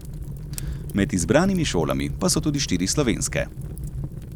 Med izbranimi šolami pa so tudi štiri slovenske.